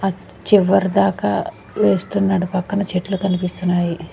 ఆ చివరి దాకా వేస్తున్నాడు పక్కన చెట్లు కనిపిస్తున్నాయి.